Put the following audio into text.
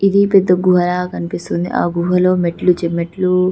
ఇది పెద్ద గుహ లాగా కనిపిస్తుంది ఆ గుహలో మెట్లు చి మెట్లు --.